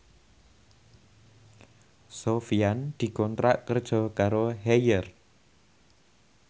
Sofyan dikontrak kerja karo Haier